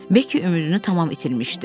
Bekki ümidini tam itirmişdi.